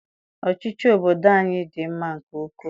Ọchịchị obodo anyị dị mma nke ukwu.